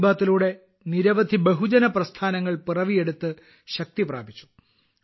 മൻ കി ബാത്തിലൂടെ നിരവധി ബഹുജന പ്രസ്ഥാനങ്ങൾ പിറവിയെടുത്ത് ശക്തി പ്രാപിച്ചു